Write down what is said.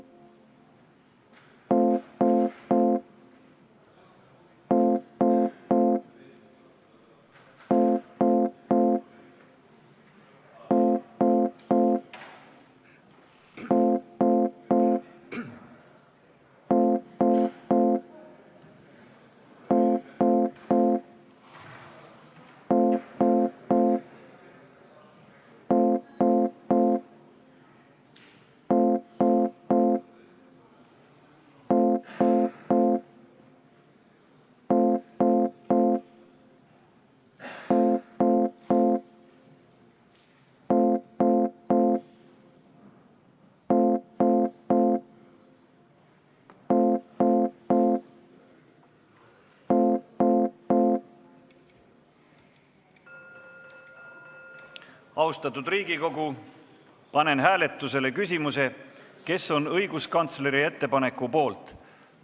Austatud Riigikogu, panen hääletusele küsimuse, kes on õiguskantsleri ettepaneku poolt.